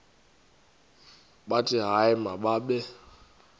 bathi hayi mababe